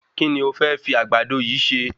Kí ni o fẹ́ fi Àgbàdo yìí se?